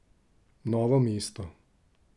Novo mesto.